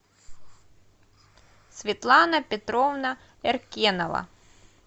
светлана петровна эркенова